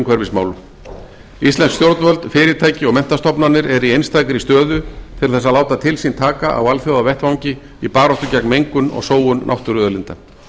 umhverfismálum íslensk stjórnvöld fyrirtæki og menntastofnanir eru í einstakri stöðu til þess að láta til sín taka á alþjóðavettvangi í baráttu gegn mengun og sóun náttúruauðlinda